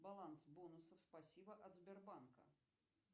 баланс бонусов спасибо от сбербанка